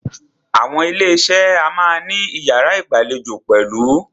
Àwọn ilé iṣé a máà ní iyàrá ìgbàlejò pẹ̀lú.